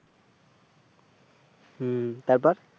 হম তারপর,